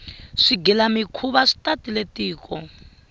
swigila mikhuva swi tatile tiko